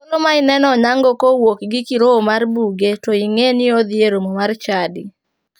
Thuolo ma ineno onyango ka owuok gi kirowo mar buge to ing'e ni odhi e romo mar chadi.